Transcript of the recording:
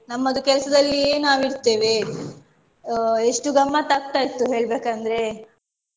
ನಮ್ಮದು ಕೆಲಸದಲ್ಲಿಯೇ ನಾವ್ ಇರ್ತೇವೆ ಅಹ್ ಎಷ್ಟು ಗಮತ್ತಾಕ್ತ ಇತ್ತು ಹೇಳ್ಬೇಕಂದ್ರೆ.